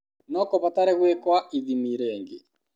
No kũbatare gũĩkwa ithimi rĩngĩ.